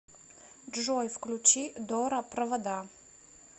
джой включи дора провода